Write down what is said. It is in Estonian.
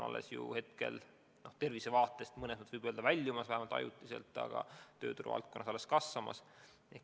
Me ju tervisekriisisist oleme juba väljumas, vähemalt ajutiselt, aga tööturu valdkonnas kriis alles kasvab.